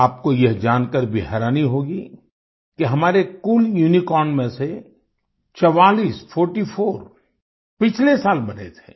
आपको यह जानकर भी हैरानी होगी कि हमारे कुल यूनिकॉर्न में से 44 फोर्टी फोर पिछले साल बने थे